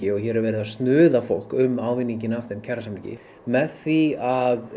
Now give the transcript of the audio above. og hér er verið að snuða fólk af þeim kjarasamningi með því að